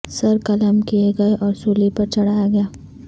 سر قلم کئے گئے اور سولی پر چڑھایا گیا